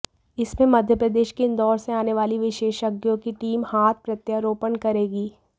इसमें मध्यप्रदेश के इन्दौर से आने वाली विशेषज्ञों की टीम हाथ प्रत्यारोपण करेगी